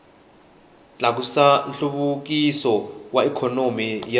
tlakusa nhluvukiso wa ikhonomi ya